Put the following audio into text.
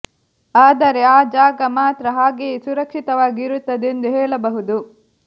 ಆದರೆ ಆ ಜಾಗ ಮಾತ್ರ ಹಾಗೆಯೇ ಸುರಕ್ಷಿತವಾಗಿ ಇರುತ್ತದೆ ಎಂದು ಹೇಳಬಹುದು